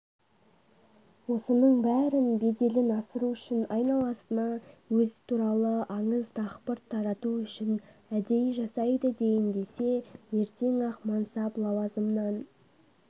осының бәрін беделін асыру үшін айналасына өз туралы аңыз дақпырт тарату үшін әдей жасайды дейін десе ертең-ақ мансап-лауазымнан